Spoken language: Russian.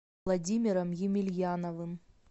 владимиром емельяновым